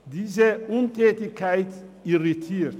Diese Untätigkeit irritiert.